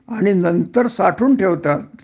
आणि नंतर साठवून ठेवतात